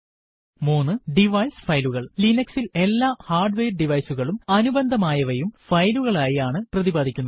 3 device ഫയലുകൽ160 Linux ൽ എല്ലാ ഹാർഡ്വെയർ ഡിവൈസ് കളും അനുബന്ധമായവയും ഫയലുകൾ ആയി ആണ് പ്രതിപാധിക്കുന്നത്